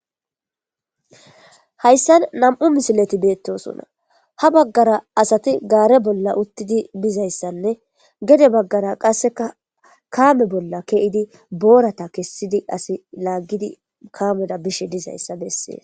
hayssan nam7u misileti beettosonna ha baggara asati gaare bolla uttidi dizayssanne gede baggara qasseka kaame bolla keidi boorata kessidi asi laaggidi kaameda bishe dizayssa bessees